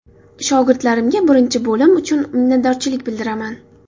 Shogirdlarimga birinchi bo‘lim uchun minnatdorchilik bildiraman.